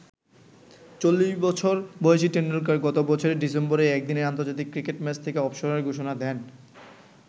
চল্লিশবছর বয়সী টেন্ডুলকার গত বছরের ডিসেম্বরেই একদিনের আন্তর্জাতিক ক্রিকেট ম্যাচ থেকে অবসরের ঘোষণা দেন।